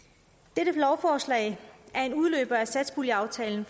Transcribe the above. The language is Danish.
dette lovforslag er en udløber af satspuljeaftalen